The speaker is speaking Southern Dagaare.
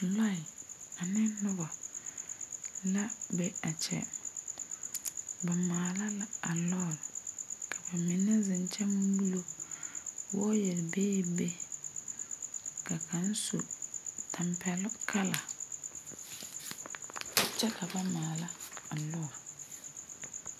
Lɔe ane nobɔ la be a kyɛ. Ba maala la a lɔr. Ba mene zeŋ kyɛ muulo. Waaya bebe. Ka kang su tampɛluŋ kala kyɛ ka ba maala a lɔr